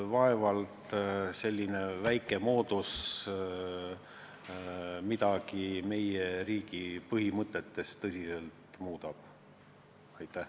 Vaevalt selline väike muudatus meie riigi põhimõtteid tõsiselt muudab.